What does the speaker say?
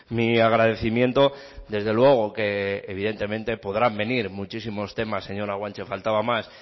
mi agradecimiento desde luego que evidentemente podrán venir muchísimos temas señora guanche faltaba más